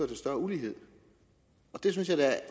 til større ulighed det synes jeg da